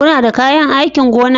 Kuna da kayan aikin gona?